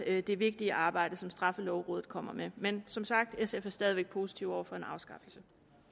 det vigtige arbejde som straffelovrådet kommer med men som sagt sf er stadig væk positive over for en afskaffelse